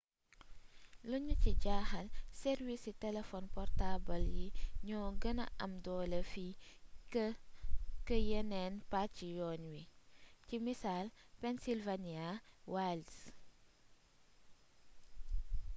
liñu ci jaaxal sàrwiisi telefon portaabal yi ñoo gëna am doole fii kë yeneen pacc yoon wi ci misaal pennsylvania wilds